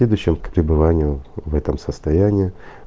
следующим к пребыванию в этом состоянии